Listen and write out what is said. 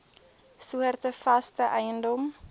soorte vaste eiendom